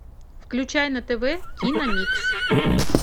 включай на тв киномикс